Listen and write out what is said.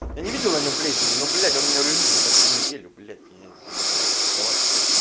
я не видел на плесени ну блять он у меня лежит уже почти неделю блять я не стал рисковать